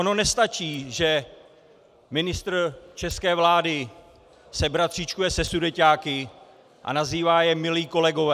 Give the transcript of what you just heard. Ono nestačí, že ministr české vlády se bratříčkuje se sudeťáky a nazývá je milí kolegové.